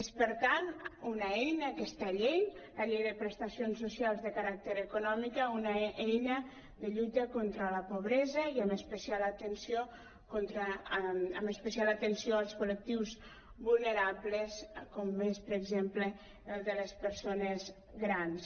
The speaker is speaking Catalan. és per tant una eina aquesta llei la llei de prestacions socials de caràcter econòmic una eina de lluita contra la pobresa i amb especial atenció als col·lectius vulnerables com ho és per exemple el de les persones grans